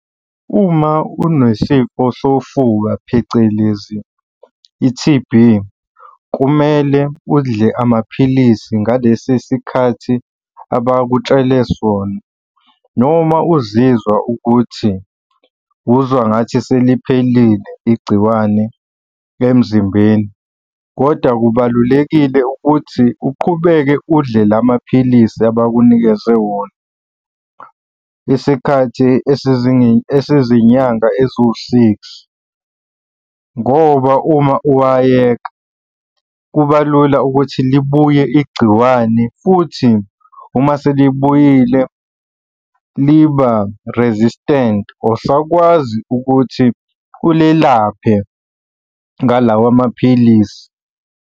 Uma unesifo sofuba, phecelezi i-T_B, kumele udle amaphilisi ngalesi sikhathi abakutshele sona noma uzizwa ukuthi uzwa ngathi seliphelile igciwane emzimbeni kodwa kubalulekile ukuthi uqhubeke udle la maphilisi abakunikeze wona isikhathi esizinyanga eziwu-six, ngoba uma uwayeka, kuba lula ukuthi libuye igciwane, futhi uma selibuyile liba resistant awusakwazi ukuthi ulelaphe ngalawa amaphilisi.